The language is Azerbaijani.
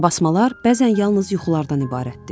Qarabasmalar bəzən yalnız yuxulardan ibarətdir.